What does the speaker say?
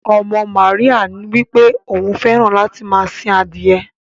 Ọmọ Maríyà wípé òun fẹràn láti máa sìn adiye.